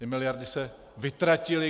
Ty miliardy se vytratily.